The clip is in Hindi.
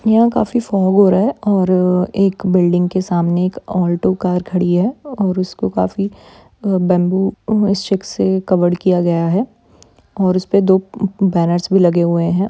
यहां काफी फॉउर है और एक बिल्डिग के सामने एक ऑटो कार खड़ी है और उसको काफी कवर किया गया है और उसमे दो बैनर्स भी लगे है।